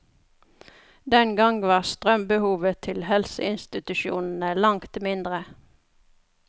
Den gang var strømbehovet til helseinstitusjonene langt mindre.